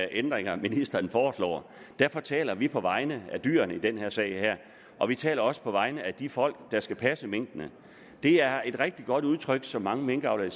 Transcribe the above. ændringer ministeren foreslår derfor taler vi på vegne af dyrene i den sag her og vi taler også på vegne af de folk der skal passe minkene det er et rigtig godt udtryk som mange minkavlere